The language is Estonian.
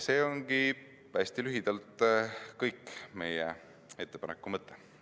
See ongi hästi lühidalt kogu meie ettepaneku mõte.